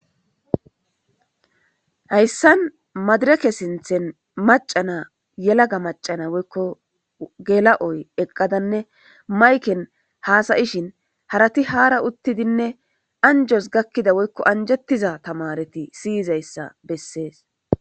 hayssan madireke sinthen macana yelaga macana woykko gela7oy eqqadanne mayken haasayishin harati haara uttidinne anjos gakkida woykko anjettiza tamareti siyizayssa bessees